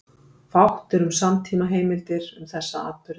Fátt er um samtímaheimildir um þessa atburði.